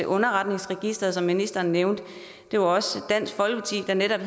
underretningsregisteret som ministeren nævnte det var også dansk folkeparti der netop